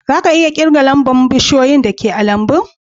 Za ka iya kirgan lamba'n bushiyoyin da ke a'lambun?